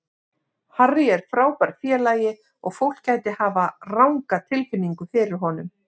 Harry er frábær félagi og fólk gæti hafa ranga tilfinningu fyrir honum.